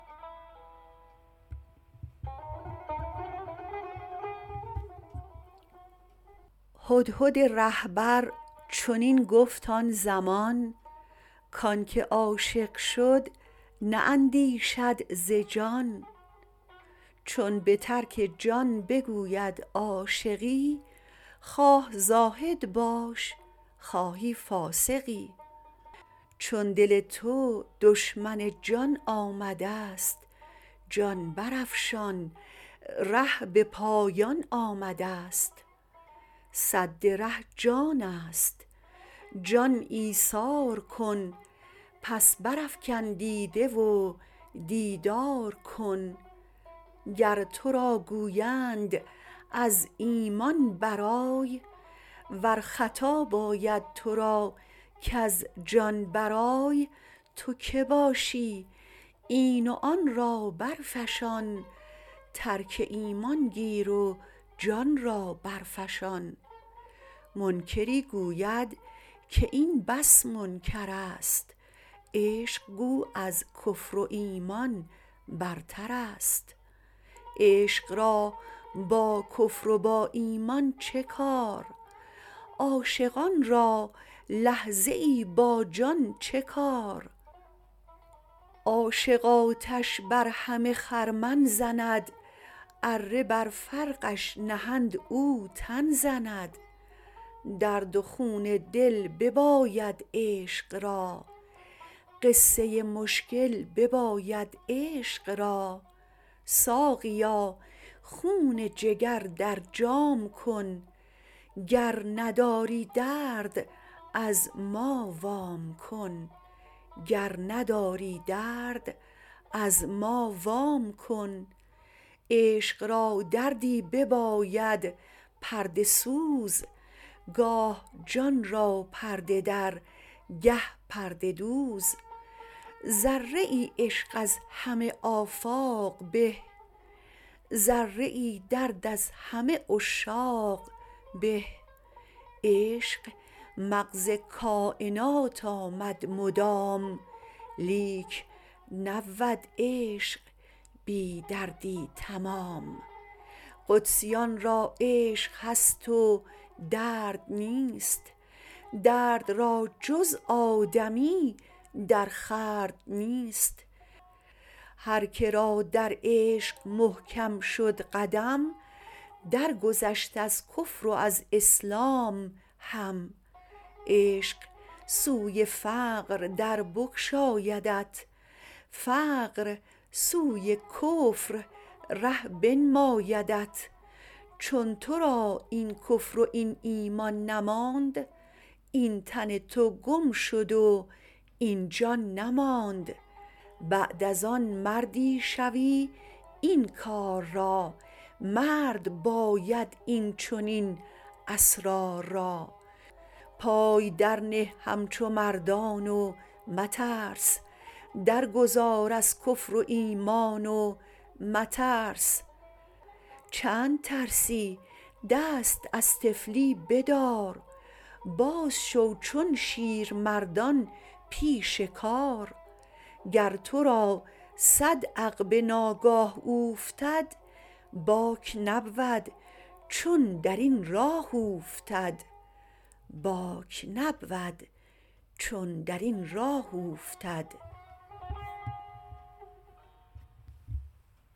هدهد رهبر چنین گفت آن زمان کانک عاشق شد نه اندیشد ز جان چون بترک جان بگوید عاشقی خواه زاهد باش خواهی فاسقی چون دل تو دشمن جان آمدست جان برافشان ره به پایان آمدست سد ره جانست جان ایثار کن پس برافکن دیده و دیدار کن گر ترا گویند از ایمان برآی ور خطاب آید ترا کز جان برآی تو که باشی این و آن را برفشان ترک ایمان گیر و جان را برفشان منکری گوید که این بس منکرست عشق گو از کفر و ایمان برترست عشق را با کفر و با ایمان چه کار عاشقان را لحظه ای با جان چه کار عاشق آتش بر همه خرمن زند اره بر فرقش نهند او تن زند درد و خون دل بباید عشق را قصه مشکل بباید عشق را ساقیا خون جگر در جام کن گر نداری درد از ما وام کن عشق را دردی بباید پرده سوز گاه جان را پرده در گه پرده دوز ذره عشق از همه آفاق به ذره درد از همه عشاق به عشق مغز کاینات آمد مدام لیک نبود عشق بی دردی تمام قدسیان را عشق هست و درد نیست درد را جز آدمی در خورد نیست هرکه را در عشق محکم شد قدم در گذشت از کفر و از اسلام هم عشق سوی فقر در بگشایدت فقر سوی کفر ره بنمایدت چون ترا این کفر وین ایمان نماند این تن تو گم شد و این جان نماند بعد از آن مردی شوی این کار را مرد باید این چنین اسرار را پای درنه همچو مردان و مترس درگذار از کفر و ایمان و مترس چند ترسی دست از طفلی بدار بازشو چون شیرمردان پیش کار گر ترا صد عقبه ناگاه اوفتد باک نبود چون درین راه اوفتد